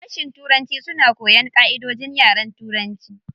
Sashin turanci suna koyan ƙaʼidojin yaren turanci.